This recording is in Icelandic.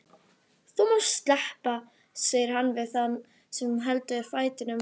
Þú mátt sleppa, segir hann við þann sem heldur fætinum.